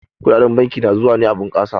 Kuɗaɗen banki na zuwa ne a bunkasa.